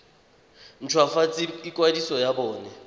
nt hwafatse ikwadiso ya bona